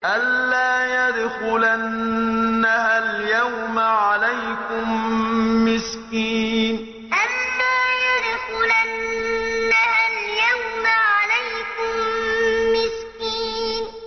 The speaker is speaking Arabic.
أَن لَّا يَدْخُلَنَّهَا الْيَوْمَ عَلَيْكُم مِّسْكِينٌ أَن لَّا يَدْخُلَنَّهَا الْيَوْمَ عَلَيْكُم مِّسْكِينٌ